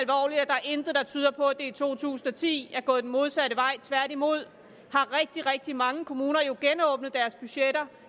intet der tyder på at det i to tusind og ti er gået den modsatte vej tværtimod har rigtig rigtig mange kommuner jo genåbnet deres budgetter